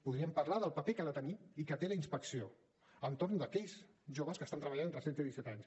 podríem parlar del paper que ha de tenir i que té la inspecció entorn d’aquells joves que estan treballant d’entre setze i disset anys